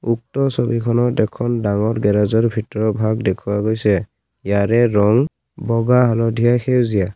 উক্ত ছবিখনত এখন ডাঙৰ গেৰেজৰ ভিতৰৰ ভাগ দেখুওৱা গৈছে ইয়াৰে ৰং বগা হালধীয়া সেউজীয়া।